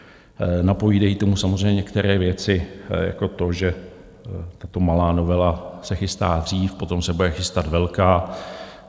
Napovídají tomu samozřejmě některé věci jako to, že tato malá novela se chystá dřív, potom se bude chystat velká.